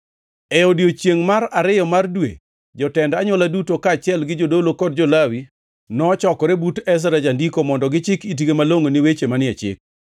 E odiechiengʼ mar ariyo mar dwe, jotend anywola duto, kaachiel gi jodolo kod jo-Lawi, nochokore but Ezra jandiko mondo gichik itgi malongʼo ni weche manie Chik.